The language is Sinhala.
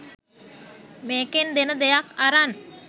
මේකෙන් දෙන දෙයක් අරන්